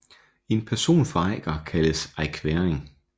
En person fra Eiker kaldes eikværing